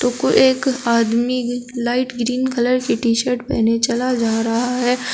को एक आदमी लाइट ग्रीन कलर की टी शर्ट पहने चला जा रहा है।